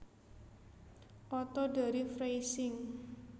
Otto dari Freising